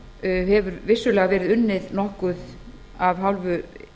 það hefur vissulega verið unnið nokkuð af hálfu